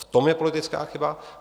V tom je politická chyba.